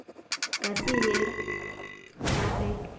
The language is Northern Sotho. ka se ye ka ge